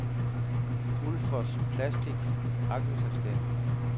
Ulfoss Plastic A/S